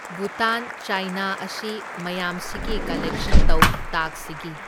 ꯚꯨꯇꯥꯟ, ꯆꯥꯢꯅꯥ ꯑꯁꯤ ꯃꯌꯥꯝꯁꯤꯒꯤ ꯀꯂꯦꯛꯁꯟ ꯇꯧ ꯇꯥꯛꯁꯁꯤꯒꯤ꯫